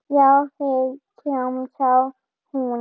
Já, þeir, kjamsar hún.